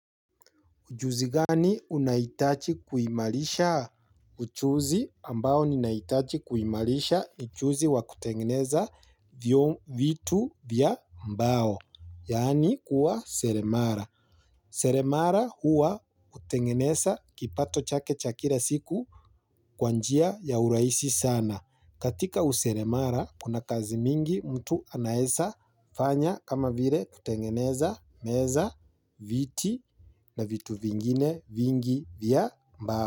Ujuzi gani unaitaji kuimarisha? Ujuzi ambao ni naitaji kuimalisha ni ujuzi wa kutengeneza vitu vya mbao. Yani kuwa seremara. Seremara huwa hutengeneza kipato chake cha kila siku kwa njia ya urahisi sana. Katika useremara, kuna kazi mingi mtu anaeza fanya kama vile kutengeneza meza, viti na vitu vingine vingi vya mbao.